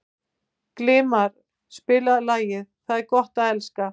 Gilmar, spilaðu lagið „Það er gott að elska“.